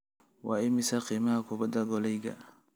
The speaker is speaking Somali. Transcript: waa imisa qiimaha kubbadda koleyga